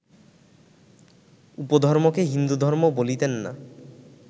উপধর্মকে হিন্দুধর্ম বলিতেন না